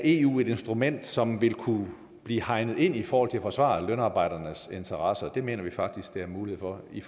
eu er et instrument som vil kunne blive hegnet ind i forhold til at forsvare lønarbejdernes interesser og det mener vi faktisk der er mulighed for i